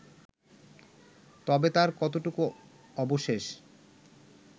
তবে তার কতটুকু অবশেষ